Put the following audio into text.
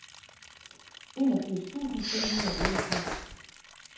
enogfirs tusind fem hundrede og otteogfirs